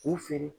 K'u feere